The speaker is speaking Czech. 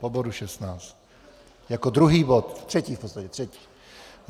Po bodu 16, jako druhý bod, třetí v podstatě, třetí.